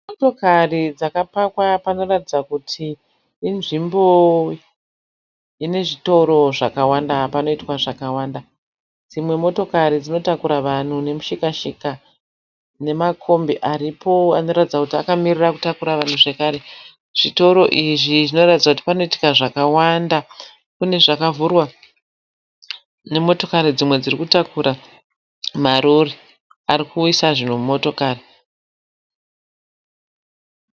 Motokari dzakapakwa panoratidza kuti inzvimbo inezvitoro zvakawanda ,panoitwa zvakawanda. Dzimwe motokari dzinotakura vanhu nemushikana shika. Nemakombi aripo anoratidza kuti akamirira kutakura vanhu zvekare. Zvitoro izvi zvinoratidza kuti panoitika zvakawanda. kune zvakavhurwa nemotokari dzimwe dziri kutakura. Marori arikuisa zvinhu mumotokari.